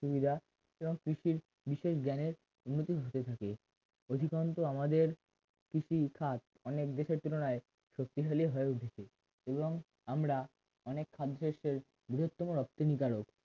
সুবিধা এবং কৃষির বিশেষ জ্ঞানে উন্নতি হতে থাকে অধিকাংশ আমাদের কৃষিকাজ অনেক দেশের তুলনায় সত্যি হলেও হয়ে উঠছে এবং আমরা বিশেষ করে বিশেষতম রক্তিম কারণ